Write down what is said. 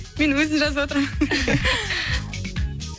мен өзім жазыватырмын